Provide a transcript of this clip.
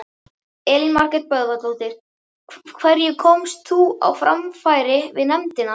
Elín Margrét Böðvarsdóttir: Hverju komst þú á framfæri við nefndina?